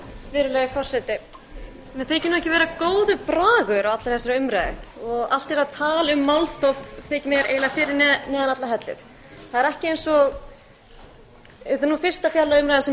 virðulegi forseti mér þykir ekki vera góður bragur á allri þessari umræðu allt þetta tal um málþóf þykir mér eiginlega fyrir neðan allar hellur það er ekki eins og þetta er nú fyrsta fjárlagaumræðan sem